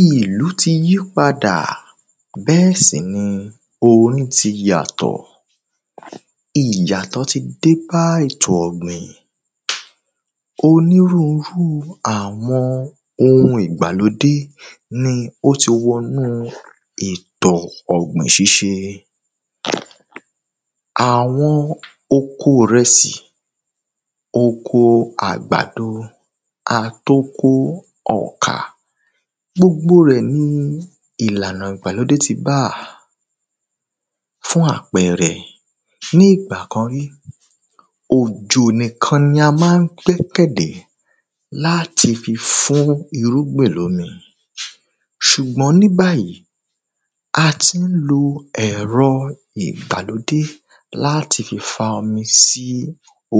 ilu ti yi pada be si ni omi ti yato Ìyàtọ̀ ti dé bá ètò ọ̀gbìn Onírurú àwọn oun ìgbàlódé ni ó ti wọ inú ètò ọ̀gbìn ṣíṣe àwọn oko ìrẹsì oko àgbàdo àti oko ọkà gbogbo rẹ̀ ni ìlànà ìgbàlódé ti bá a fún àpẹẹrẹ fún ìgbà kan rí òjò nìkan ni a máa ń gbẹ́kẹ̀ lé láti fi fún irúgbìn ní omi sùgbọ́n ní báyì a ti ń lo ẹ̀rọ ìgbàlódé láti fi fa omi sí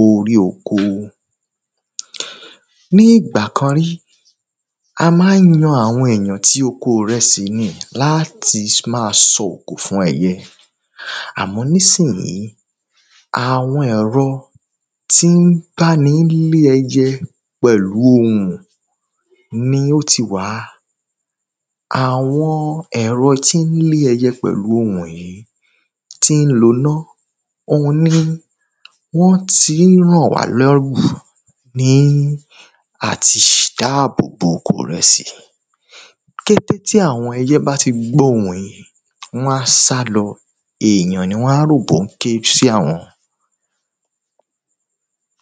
orí oko ní ìgbà kan rí a ma ń yan àwọn èyàn ti oko ìrẹsì ni láti máa sọ òkò fún ẹyẹ àmọ́n ní ìsìnyí àwọn ẹ̀rọ tí ń bá ẹni lé ẹyẹ pẹ̀lú ohùn ni ó ti wà àwọn ẹ̀ro tí ń lé ẹyẹ pèlú ohùn yìí tí ń lo iná òun ni wọ́n ti ń ràn wá lọ́rùn ní àti dá àbò bo oko ìrẹsì kété tí àwọn ẹyẹ bá ti gbọ́ ohùn yìí wọ́n á sálọ èyàn ni wọ́n á rò bí ó ń ké sí àwọn